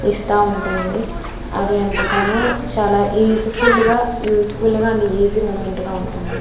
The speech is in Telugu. చిస్త వుంటుంది అది ఎంతగానో చాలా యూజ్ఫుల్ గా యూజ్ఫుల్గా అండ్ ఈజీ మూవ్మెంట్ గా అనిపిస్తువుంటుంది.